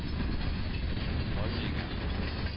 holdninger